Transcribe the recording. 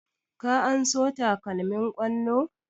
Ka anso takalmin ƙwallo?